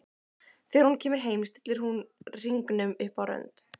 Þegar hún kemur heim stillir hún hringnum upp á rönd.